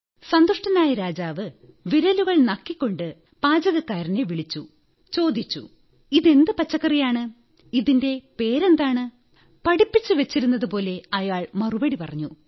സന്തുഷ്ടനായ രാജാവ് വിരലുകൾ നക്കിക്കൊണ്ട് പാചകക്കാരനെ വിളിച്ചു ചോദിച്ചു ഇതെന്തു പച്ചക്കറിയാണ് ഇതിന്റെ പേരെന്താണ് പഠിപ്പിച്ചുവച്ചിരുന്നതുപോലെ അയാൾ മറുപടി പറഞ്ഞു